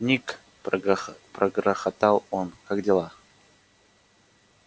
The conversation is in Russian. ник прогрохотал он как дела